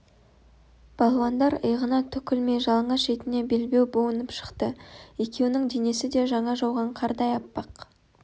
балуандар иығына түк ілмей жалаңаш етіне белбеу буынып шықты екеуінің денесі де жаңа жауған қардай аппақ